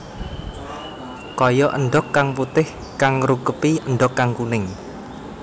Kaya endhog kang putih kang ngrungkepi endhog kang kuning